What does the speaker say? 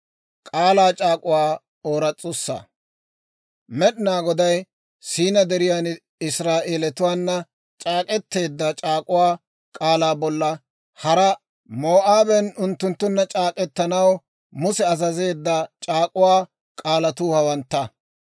Med'inaa Goday Siinaa Deriyan Israa'eelatuwaana c'aak'k'eteedda c'aak'uwaa k'aalaa bolla haraa Moo'aaben unttunttunna c'aak'k'etanaw Musa azazeedda c'aak'uwaa k'aalatuu hawantta.